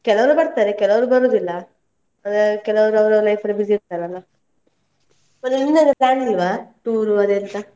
ಕೆಲವರು ಬರ್ತಾರೆ ಕೆಲವರು ಬರುದಿಲ್ಲ, ಅಂದ್ರೆ ಕೆಲವರು ಅವರವರ life ಅಲ್ಲಿ busy ಇರ್ತಾರಲ್ಲ? ಮತ್ತೆ ನಿಮ್ದೆಲ್ಲಾ plan ಇಲ್ವಾ? tour ಅದೇನ್ಸ?